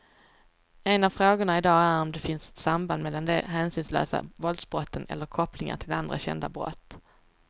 En av frågorna i dag är om det finns ett samband mellan de hänsynslösa våldsbrotten eller kopplingar till andra kända brott.